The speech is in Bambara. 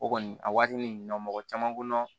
O kɔni a waatinin mɔgɔ caman ko